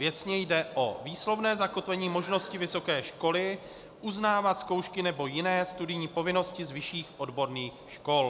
Věcně jde o výslovné zakotvení možnosti vysoké školy uznávat zkoušky nebo jiné studijní povinnosti z vyšších odborných škol.